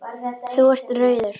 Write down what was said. Þú ert rauður.